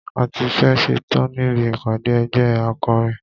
A tí fẹ́ ẹ̀ ṣetán níbi ìpàdé ẹgbẹ́ akọrin.